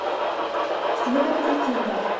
следователь тихонов